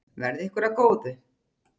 Verði ykkur að góðu.